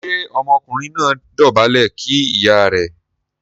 ṣe Ọmọkùnrin náà dobale kí ìyá rẹ̀?